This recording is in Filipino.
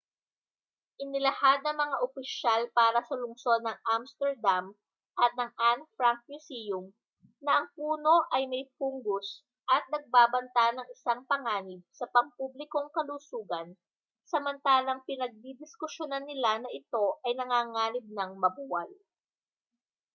inilahad ng mga opisyal para sa lungsod ng amsterdam at ng anne frank museum na ang puno ay may fungus at nagbabanta ng isang panganib sa pampublikong kalusugan samantalang pinagdidiskusyunan nila na ito ay nanganganib nang mabuwal